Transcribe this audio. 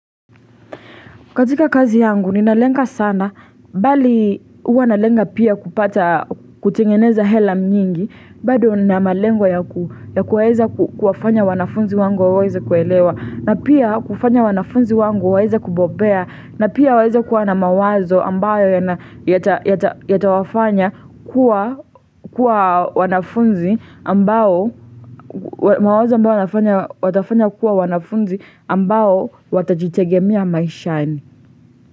Katika kazi yangu, ninalenga sana, bali huwa nalenga pia kupata, kutengeneza hela nyingi, bado nina malengo ya kuweza kuwafanya wanafunzi wangu waweze kuelewa, na pia kufanya wanafunzi wangu waweze kubobea, na pia waweze kuwa na mawazo ambayo yatawafanya kuwa wanafunzi ambao, mawazo ambayo watafanya kuwa wanafunzi ambao watajitegemea maishani.